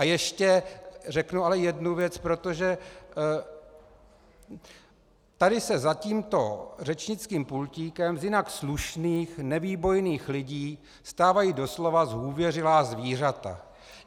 A ještě řeknu ale jednu věc, protože tady se za tímto řečnickým pultíkem z jinak slušných nevýbojných lidí stávají doslova zhůvěřilá zvířata.